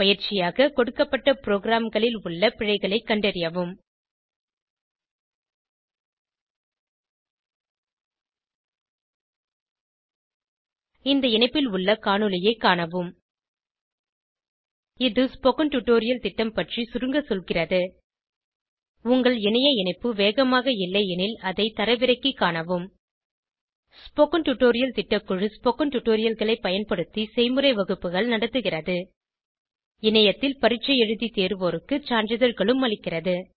பயிற்சியாக கொடுக்கப்பட்ட ப்ரோகிராம்களில் உள்ள பிழைகளை கண்டறியவும் இந்த இணைப்பில் உள்ள காணொளியைக் காணவும் httpspoken tutorialorgWhat is a spoken tutorial இது ஸ்போகன் டுடோரியல் திட்டம் பற்றி சுருங்க சொல்கிறது உங்கள் இணைய இணைப்பு வேகமாக இல்லையெனில் அதை தரவிறக்கிக் காணவும் ஸ்போகன் டுடோரியல் திட்டக்குழு ஸ்போகன் டுடோரியல்களைப் பயன்படுத்தி செய்முறை வகுப்புகள் நடத்துகிறது இணையத்தில் பரீட்சை எழுதி தேர்வோருக்கு சான்றிதழ்களும் அளிக்கிறது